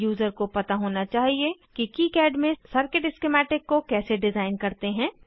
user को पता होना चाहिए कि किकाड में सर्किट स्किमैटिक को कैसे डिज़ाइन करते हैं